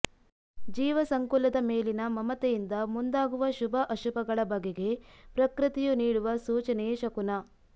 ಜೀವಸಂಕುಲದ ಮೇಲಿನ ಮಮತೆಯಿಂದ ಮುಂದಾಗುವ ಶುಭ ಅಶುಭಗಳ ಬಗೆಗೆ ಪ್ರಕೃತಿಯು ನೀಡುವ ಸೂಚನೆಯೇ ಶಕುನ